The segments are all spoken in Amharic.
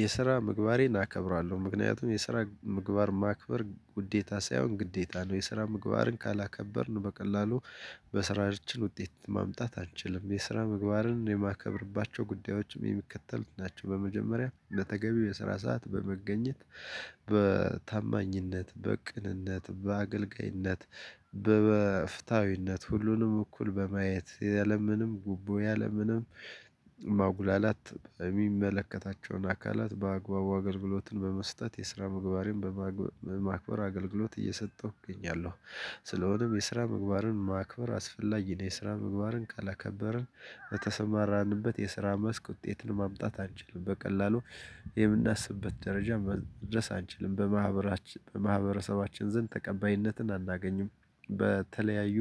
የስራ ምግባሬን አከብራለሁ ምክንያቱም የስራ ምግባር ማክበር ውዴታ ሳይሆን ግዴታ ነው። የስራ ምግባርን ካላከበርን በቀላሉ በስራችን ውጤት ማምጣት አንችልም የስራ ምግባርን የማከብርባቸው ጉዳዮችም የሚከተሉት ናቸው። በመጀመሪያ በተገቢው የስራ ሰዓት በመገኘት በታማኝነት በቅንነት በአገልጋይነት በፍትሀዊነት ሁሉንም እኩል በማየት ያለምንም ጉቦ ያለምንም ማጉላላት የሚመለከታቸውን አካላት በአግባቡ አገልግሎትን በመስጠት የስራ ምግባሬን በማክበር አገልግሎት እየሰጠሁ እገኛለሁ። ስለሆነም የስራ ምግባርን ማክበር አስፈላጊ ነው። የስራ ምግባርን ካላከበርን በተሰማራንበት የስራ መስክ ውጤትን ማምጣት አንችልም በቀላሉ የምናስብበት ደረጃ መድረስ አንችልም በማህበራችን በማህበረሰባችን ዘንድ ተቀባይነትን አናገኝም። በተለያዩ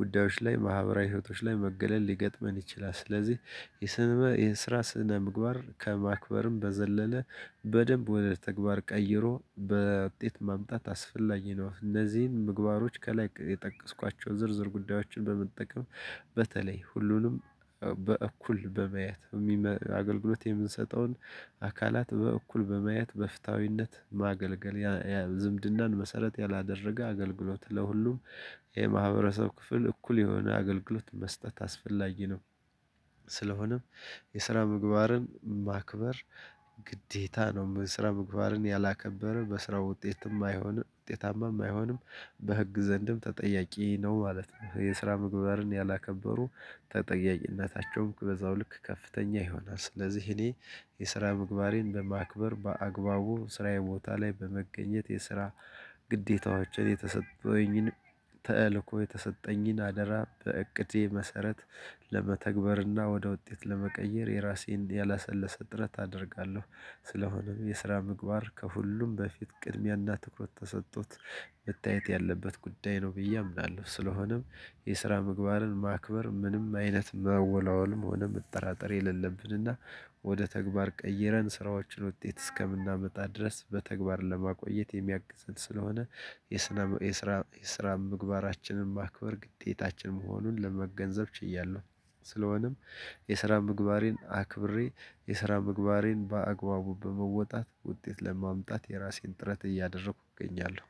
ጉዳዮች ላይ ማህበራዊ ህይወቶች ላይ መገለል ሊገጥመን ይችላል። ስለዚህ የስነ የስራ ስነ ምግባር ከማክበርም በዘለለ በደንብ ወደ ተግባር ቀይሮ በ ውጤት ማምጣት አስፈላጊ ነው። እንዚህን ምግባሮች ከላይ የጠቀስኳቸው ዝርዝር ጉዳዮችን በመጠቀም በተለይ ሁሉንም በእኩል በማየት አገልግሎት የምንሰጠውን አካላት በእኩል በማየት በፍትሃዊነት ማገልገል ዝምድናን መሰረት ያላደረገ አገልግሎት ለሁሉም የማህበረሰብ ክፍል እኩል የሆነ አገልግሎት መስጠት አስፈላጊ ነው። ስለሆነም የስራ ምግባርን ማክበር ግዴታ ነው። የስራ ምግባርን ያላከበረ በስራው ውጤት የማይሆን ውጤታማም አይሆንም በህግ ዘንድም ተጠያቂ ነው ማለት ነው። የስራ ምግባርን ያላከበሩ ተጠያቂነታቸውም በዛው ልክ ከፍተኛ ይሆናል። ስለዚህ እኔ የስራ ምግባሬን በማክበር በአግባቡ ስራዬ ቦታ ላይ በመገኘት የስራ ግዴታዎችን የተሰጠኝን ተልእኮ የተሰጠኝን አደራ በእቅዴ መሰረት ለመተግበርና ወደ ውጤት ለመቀየር የራሴን ያላሰለሰ ጥረት አደርጋለሁ። ስለሆነም የስራ ምግባር ከሁሉም በፊት ቅድሚያና ትኩረት ተሰጥቶት መታየት ያለበት ጉዳይ ነው ብዬ አምናለሁ። ስለሆነም የስራ ምግባርን ማክበር ምንም አይነት መወላወልም ሆነ መጠራጠር የሌለብንና ወደ ተግባር ቀይረን ስራዎችን ውጤት እስከምናመጣ ድረስ በተግባር ለማቆየት የሚያግዘን ስለሆነ የስነ የስራ የስራ ምግባራችንን ማክበር ግዴታችን መሆኑን ለመገንዘብ ችያለሁ። ስለሆነም የስራ ምግባሬን አክብሬ የስራ ምግባሬን በአግባቡ በመወጣት ውጤት ለማምጣት የራሴን ጥረት እያደረኩ እገኛለሁ።